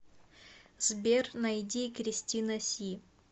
сбер найди кристина си